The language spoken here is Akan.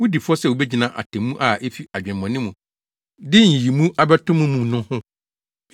wudi fɔ sɛ wugyina atemmu a efi adwemmɔne mu de nyiyimu abɛto mo mu no ho.